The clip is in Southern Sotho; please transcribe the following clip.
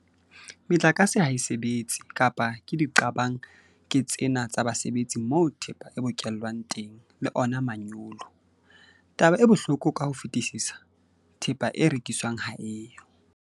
Metlakase ha e sebetse kapa ke diqabang ke tsena tsa basebetsi moo thepa e bokellwang teng le ona manyolo. Taba e bohloko ka ho fetisisa - thepa e rekiswang ha e yo.